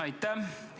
Aitäh!